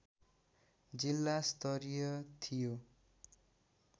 जिल्ला स्तरीय थियो